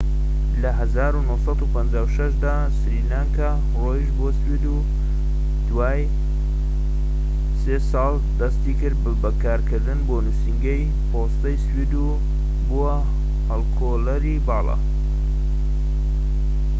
لە ١٩٥٦ دا سلانیا ڕۆیشت بۆ سوید و دوای سێ ساڵ دەستی کرد بە کارکردن بۆ نوسینگەی پۆستەی سوید و بووە هەڵکۆڵەری باڵا